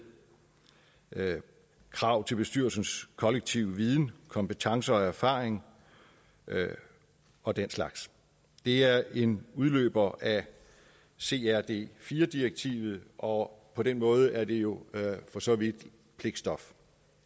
krav til bestyrelsens kollektive viden kompetencer og erfaring og den slags det er en udløber af crd iv direktivet og på den måde er det jo for så vidt pligtstof